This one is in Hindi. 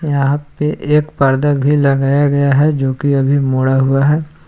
यहां पे एक पर्दा भी लगाया गया है जो कि अभी मोड़ा हुआ है।